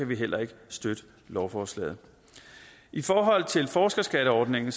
vi heller ikke støtte lovforslaget i forhold til forskerskatteordningen